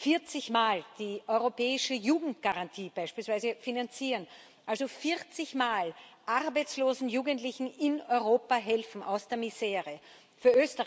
Vierzigmal die Europäische Jugendgarantie beispielsweise finanzieren, also vierzigmal arbeitslosen Jugendlichen in Europa aus der Misere helfen.